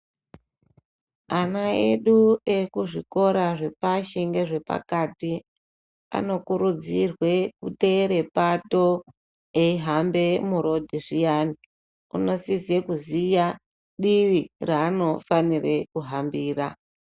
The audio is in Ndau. Ana edu ekuzvikora zvepashi nezvepakati anokurudzirwe kuteera pato eihamba murodhi zviyani unosise kuziya divi raanofanira kuhambira.